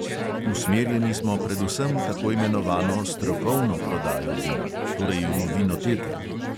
Usmerjeni smo predvsem v tako imenovano strokovno prodajo vina, torej v vinoteke.